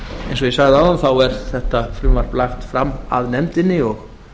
eins og ég sagði áðan er þetta frumvarp lagt fram af nefndinni og